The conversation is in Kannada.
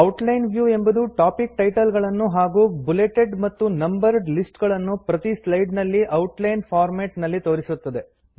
ಔಟ್ಲೈನ್ ವ್ಯೂ ಎಂಬುದು ಟಾಪಿಕ್ ಟೈಟಲ್ ಗಳನ್ನು ಹಾಗೂ ಬುಲೆಟೆಡ್ ಮತ್ತು ನಂಬರ್ಡ್ ಲಿಸ್ಟ್ ಗಳನ್ನು ಪ್ರತಿ ಸ್ಲೈಡ್ ನಲ್ಲಿ ಔಟ್ಲೈನ್ ಫಾರ್ಮ್ಯಾಟ್ ನಲ್ಲಿ ತೋರಿಸುತ್ತದೆ